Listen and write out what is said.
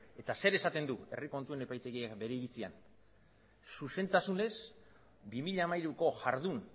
eta zer e saten du herri kontuen epaitegiak bere iritzian zuzentasunez bi mila hamairuko jardun